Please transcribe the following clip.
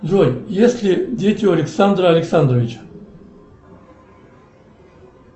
джой есть ли дети у александра александровича